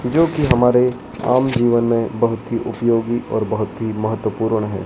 जो कि हमारे आम जीवन में बहोत ही उपयोगी और बहोत ही महत्वपूर्ण है।